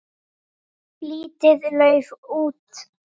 Lítið lauf út.